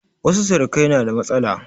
Wasu surukai na da matsala.